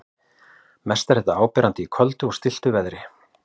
Mest er þetta áberandi í köldu og stilltu veðri.